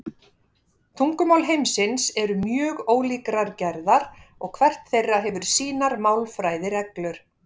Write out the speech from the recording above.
Tungumál heimsins eru mjög ólíkrar gerðar og hvert þeirra hefur sínar málfræðireglur.